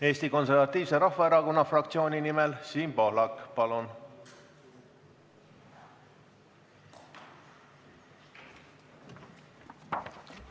Eesti Konservatiivse Rahvaerakonna fraktsiooni nimel Siim Pohlak, palun!